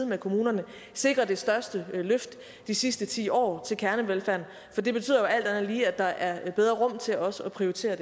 med kommunerne sikrer det største løft de sidste ti år til kernevelfærden for det betyder jo alt andet lige at der er bedre rum til også at prioritere